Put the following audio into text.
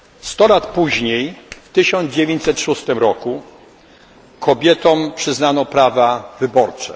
Sto lat później, w 1906 roku kobietom przyznano prawa wyborcze.